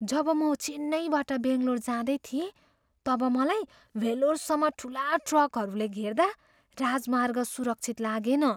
जब म चेन्नइबाट बङ्गलोर जाँदै थिएँ, तब मलाई वेल्लोरसम्म ठुला ट्रकहरूले घेर्दा राजमार्ग सुरक्षित लागेन।